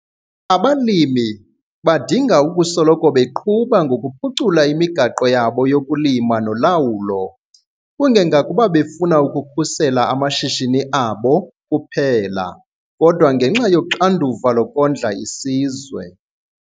Abalimi badinga ukusoloko beqhuba ngokuphucula imigaqo yakho yokulima nolawulo, kungengakuba befuna ukukhusela amashishini abo kuphela kodwa ngenxa yoxanduva lokondla isizwe.